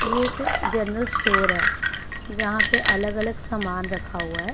ये एक general store है जहां पे अलग अलग सामान रखा हुआ है।